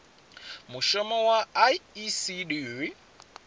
mushumo wa icd ndi ufhio